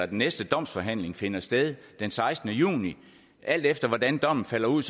den næste domsforhandling finder sted den sekstende juni alt efter hvordan dommen falder ud